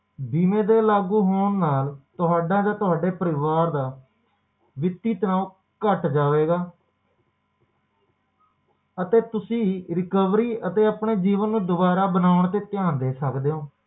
ਬੀਮੇ ਦੇ ਲਾਗੂ ਹੋਣ ਨਾਲ ਤੁਹਾਡਾ ਤੇ ਤੁਹਾਡੇ ਪਰਿਵਾਰ ਦਾ ਵਿੱਤੀ ਤਣਾਓ ਘਟ ਜਾਵੇਗਾ ਅਤੇ ਤੁਸੀਂ recovery ਤੇ ਆਪਣੇ ਜੀਵਨ ਨੂੰ ਦੁਬਾਰਾ ਬਣਾਉਣ ਤੇ ਧਿਆਨ ਦੇ ਸਕਦੇ ਹੋ